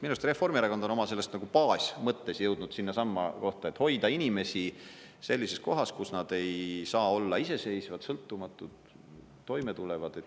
Minu arust Reformierakond on oma selles nagu baasmõttes jõudnud sinnasamma kohta, et hoida inimesi sellises kohas, kus nad ei saa olla iseseisvad, sõltumatult toime tulevad.